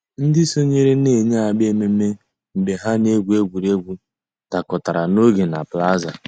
Ǹdí sọǹyèrè nà-èyi àgbà emèmé́ mgbè hà nà-ègwù ègwè́ré́gwụ̀ dàkọ̀tàrà n'ògè nà plaza.